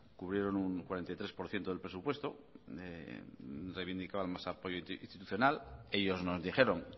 cubrieron un cuarenta y tres por ciento del presupuesto reivindicaban más apoyo institucional ellos nos dijeron